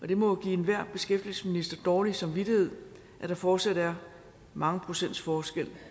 det må jo give enhver beskæftigelsesminister dårlig samvittighed at der fortsat er mange procents forskel